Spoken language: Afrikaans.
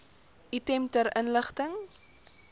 item ter inligting